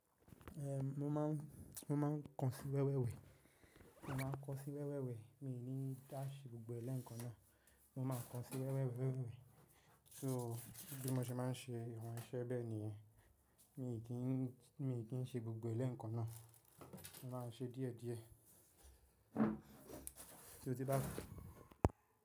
Ehn, mo máa ń, mo máa ń kàn sí wẹ́wẹ́ wẹ́, mo máa ń kàn sí wẹ́wẹ́ wẹ́, mi ò ní dá ṣe gbogbo rẹ̀ ni eẹ́kan náà, mo máa kàn sí wẹ́wẹ́ wẹ́wẹ́ wẹ́wẹ́. So bí mo ṣe máa ń ṣe àwọn iṣẹ́ bẹ́ẹ̀ nìyẹn, mi ò kì, mi ò kì n ṣe gbogbo rẹ̀ ni ẹekan náà, mo máa ń ṣe díẹ̀ díẹ̀. Ṣo, tí n bá?